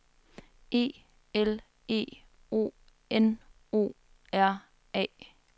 E L E O N O R A